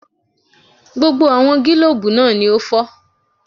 Gbogbo àwọn gílòbú náà ni ó fọ́